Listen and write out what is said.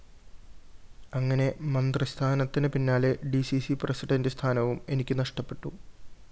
അങ്ങനെ മന്ത്രിസ്ഥാനത്തിനു പിന്നാലെ ഡി സി സി പ്രസിഡന്റു സ്ഥാനവും എനിക്ക് നഷ്ടപ്പെട്ടു